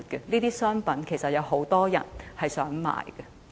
這些商品其實有很多人希望購買。